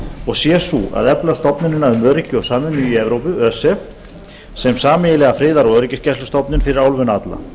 og sé sú að efla stofnunina um öryggi og samvinnu í evrópu sem sameiginlega friðar og öryggisgæslustofnun fyrir álfuna alla